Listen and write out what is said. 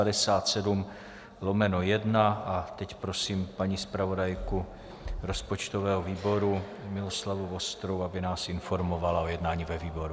A teď prosím paní zpravodajku rozpočtového výboru Miloslavu Vostrou, aby nás informovala o jednání ve výboru.